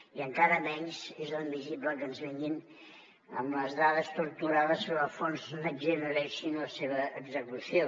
i encara menys és admissible que ens vinguin amb les dades torturades sobre el fons next generation i la seva execució